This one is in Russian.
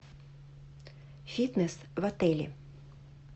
фитнес в отеле